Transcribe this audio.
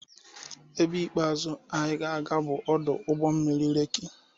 Ebe ikpeazụ anyị na-aga bụ ọdụ ụgbọ mmiri Lekki.